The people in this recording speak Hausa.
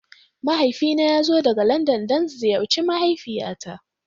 Mahaifina ya zo daga Landan don ziyarci mahaifiyata.